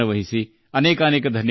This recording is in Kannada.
ತುಂಬು ಧನ್ಯವಾದಗಳು